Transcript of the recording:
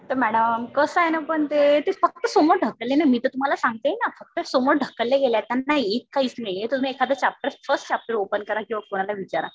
तर मॅडम कसं आहे ना पण ते, ते फक्त समोर ढकलेलं आहे. मी तर तुम्हाला सांगतेय ना. फक्त समोर ढकलल्या गेलं. त्यांना येत काहीच नाही. तुम्ही एखादा चॅप्टर फर्स्ट चॅप्टर ओपन करा. किंवा कुणाला विचारा.